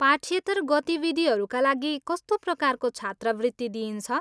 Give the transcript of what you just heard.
पाठ्येत्तर गतिविधिहरूका लागि कस्तो प्रकारको छात्रवृत्ति दिइन्छ?